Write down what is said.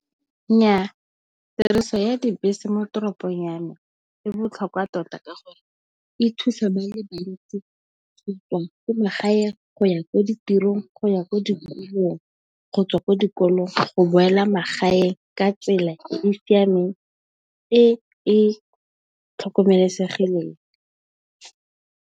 Nnyaa tiriso ya dibese mo toropong ya me e botlhokwa tota ka gore e thusa ba le bantsi ba tswang ko magaeng, go ya ko ditirong, go ya ko dikolong, gotswa ko dikolong, go boela magaeng ka tsela e e siameng e e tlhokomelesegileng.